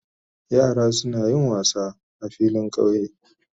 Yara suna yin wassa sa filin kauye.